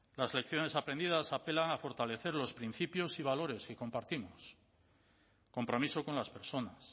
las lecciones aprendidas apelan a fortalecer los principios y valores que compartimos compromiso con las personas